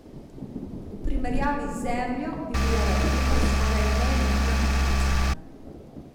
V primerjavi z Zemljo bi bila raketa skoraj nevidna pikica.